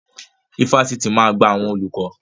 Ifáfitì máa gba àwọn olùkọ́.